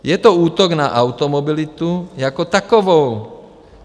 Je to útok na automobilitu jako takovou.